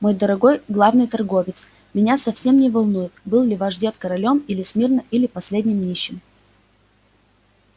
мой дорогой главный торговец меня совсем не волнует был ли ваш дед королём на смирно или последним нищим